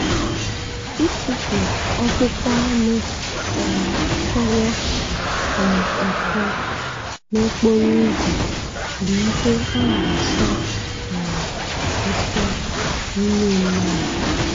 Itufu ọkpụkpụ anụ um fọrọ um afọ n'okporo ụzọ bụ ihe a na-asọ um nsọ n'ime mmụọ